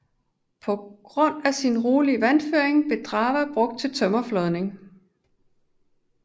På grund af sin rolige vandføring blev Drawa brugt til tømmerflådning